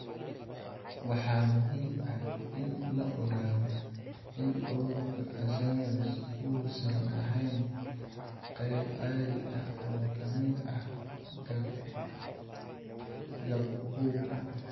Waxaa muhiim ah in la ogaado in cudurka Alzheimers uusan ahayn qayb caadi ah oo ka mid ah gabowga.